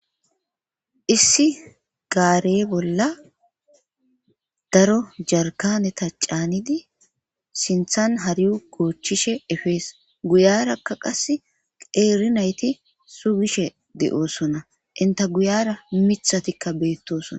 Issi gaarey bolla daro jarkaneta caanidi sinthan hariu goochchishe efees guyarakka qas qeerinayti sugishe de'osona inta guyara mithatikka beettosona.